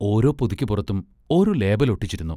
ഓരോ പൊതിക്കുപുറത്തും ഓരോ ലേബൽ ഒട്ടിച്ചിരുന്നു.